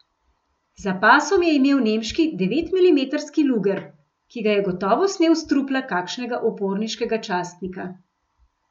Za pasom je imel nemški devetmilimetrski luger, ki ga je gotovo snel s trupla kakšnega uporniškega častnika.